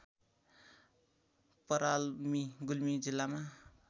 पराल्मी गुल्मी जिल्लामा